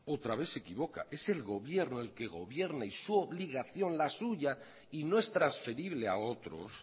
otra vez se equivoca es el gobierno el que gobierna y su obligación la suya y no es transferible a otros